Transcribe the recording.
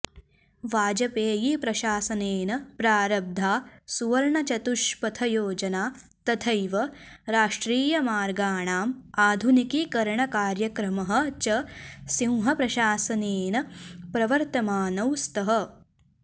वाजपेयी प्रशासनेन प्रारब्धा सुवर्णचतुष्पथयोजना तथैव राष्ट्रियमार्गाणाम् आधुनिकीकरणकार्यक्रमः च सिंहप्रशासनेन प्रवर्तमानौ स्तः